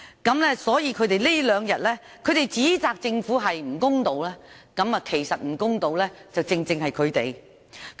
反對派這兩天指責政府不公道，其實不公道的正是他們。